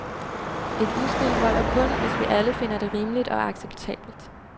Et udspil holder kun, hvis vi alle finder det rimeligt og acceptabelt.